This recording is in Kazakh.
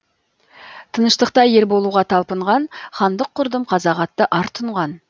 тыныштықта ел болуға талпынған хандық құрдым қазақ атты ар тұнған